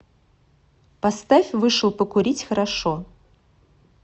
поставь вышел покурить хорошо